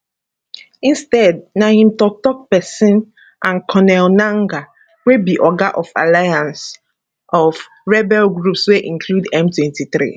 instead na im toktok pesin and corneille nangaa wey be oga of alliance of rebel groups wey include m23